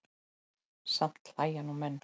Samt hlæja nú menn.